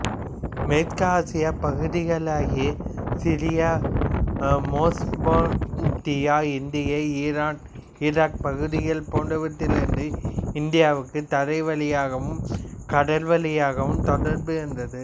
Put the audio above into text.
மேற்கு ஆசிய பகுதிகளாகிய சிரியா மெசொப்பொத்தேமியா இன்றைய ஈரான் ஈராக் பகுதிகள் போன்றவற்றிலிருந்து இந்தியாவுக்குத் தரைவழியாகவும் கடல்வழியாகவும் தொடர்பு இருந்தது